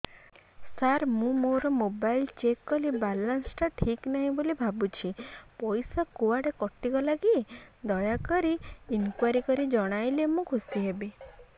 ସାର ମୁଁ ମୋର mobile check କଲି ବାଲାନ୍ସ ଟା ଠିକ ନାହିଁ ବୋଲି ଭାବୁଛି ପଇସା କୁଆଡେ କଟି ଗଲା କି ଦୟାକରି ଇନକ୍ୱାରି କରି ଜଣାଇଲେ ମୁଁ ଖୁସି ହେବି